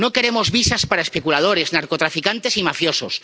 No queremos visas para especuladores, narcotraficantes y mafiosos.